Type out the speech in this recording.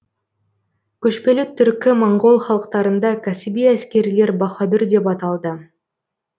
көшпелі түркі моңғол халықтарында кәсіби әскерилер баһадүр деп аталды